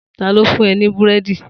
Ta ló fún ẹ ní Búrẹ́dì?